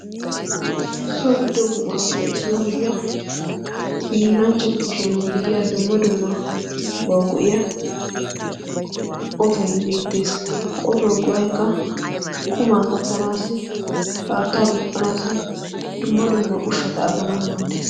so giddo buquraappe issuwaa gidiya hiillanchchatu kushiyan giigiya dumma dumma bawau go'iya otoi beettees. ha otoo guwaikka qumaa kattanaassi haattaa duuqqanaassi dumma dumma ushshata aganau maaddees.